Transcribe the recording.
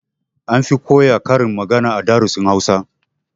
An fi koya karin magana a darussan Hausa